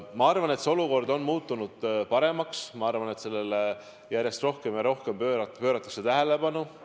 Ma arvan, et see olukord on muutunud paremaks, ma arvan, et sellele järjest rohkem ja rohkem pööratakse tähelepanu.